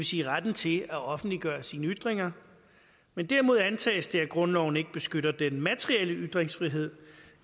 sige retten til at offentliggøre sine ytringer men derimod antages det at grundloven ikke beskytter den materielle ytringsfrihed